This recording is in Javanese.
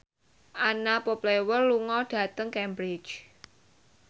Anna Popplewell lunga dhateng Cambridge